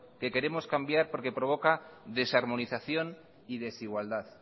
que queremos cambiar porque provoca desarmonización y desigualdad